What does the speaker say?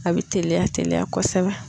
A bɛ teliya teliya kosɛbɛ.